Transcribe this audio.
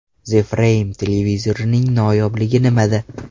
The Frame televizorining noyobligi nimada?